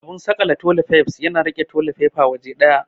Abun saƙale toli faifs yana riƙe toli faifa waje ɗaya.